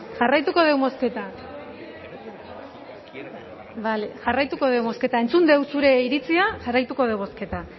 jarraituko dugu bozketak jarraituko dugu bozketak entzun dugu zure iritzia jarraituko dugu bozketak